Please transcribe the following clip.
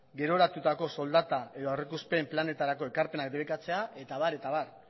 geroratutako soldata edo aurrikuspen planetarako ekarpenak debekatzea eta abar